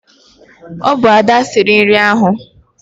Ọ bụ Ada siri nri ahụ.